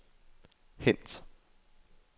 hent